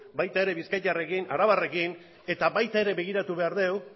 baita ere bizkaitarrekin arabarrekin eta baita ere begiratu behar dugu